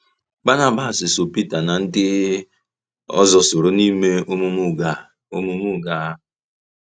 Bànàbàs ‘so Peter na ndị ọzọ soro n’ime omume ụgha omume ụgha a.’